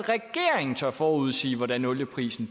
at regeringen tør forudsige hvordan olieprisen